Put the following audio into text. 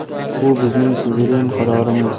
Bu bizning suveren qarorimiz.